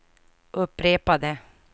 upprepade